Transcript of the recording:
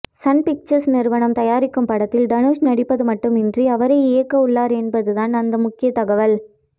Sun Pictures நிறுவனம் தயாரிக்கும் படத்தில் தனுஷ் நடிப்பது மட்டுமின்றி அவரே இயக்க உள்ளார் என்பதுதான் அந்த முக்கிய தகவல்